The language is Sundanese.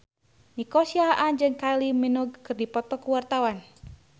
Nico Siahaan jeung Kylie Minogue keur dipoto ku wartawan